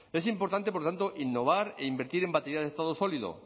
es importante por tanto innovar e invertir en baterías de estado sólido